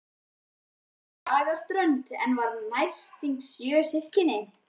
Hún ólst upp á Skagaströnd og var næstyngst sjö systkina.